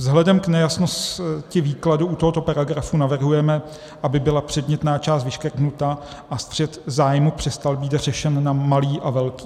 Vzhledem k nejasnosti výkladu u tohoto paragrafu navrhujeme, aby byla předmětná část vyškrtnuta a střet zájmů přestal být řešen na malý a velký.